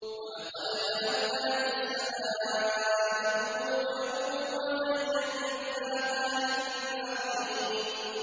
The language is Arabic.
وَلَقَدْ جَعَلْنَا فِي السَّمَاءِ بُرُوجًا وَزَيَّنَّاهَا لِلنَّاظِرِينَ